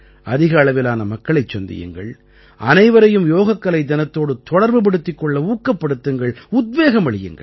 அதிக அளவிலான மக்களைச் சந்தியுங்கள் அனைவரையும் யோகக்கலை தினத்தோடு தொடர்புபடுத்திக் கொள்ள ஊக்கப்படுத்துங்கள் உத்வேகமளியுங்கள்